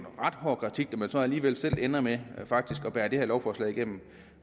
ret hård kritik når man så alligevel selv ender med faktisk at bære det her lovforslag igennem